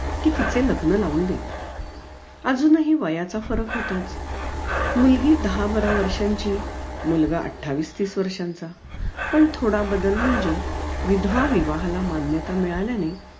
कि तिचे लग्न लावून देत अजूनही वयाचा फरक होताच मुलगी दहा बारा वर्षांची मुलगा अठ्ठावीस तीस वर्षांचा पण थोडा बदल म्हणजे विधवा विवाहाला मान्यता मिळाल्याने